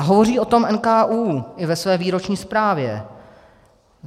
A hovoří o tom NKÚ i ve své výroční zprávě.